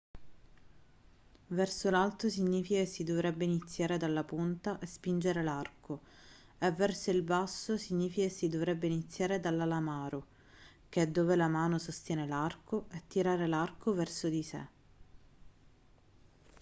verso l'alto significa che si dovrebbe iniziare dalla punta e spingere l'arco e verso il basso significa che si dovrebbe iniziare dall'alamaro che è dove la mano sostiene l'arco e tirare l'arco verso di sé